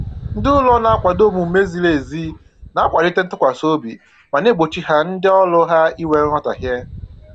Ndị ụlọ na-akwado omume ziri ezi na-akwalite ntụkwasị obi ma na-egbochi ha ndị ọrụ ha inwe nghọtahie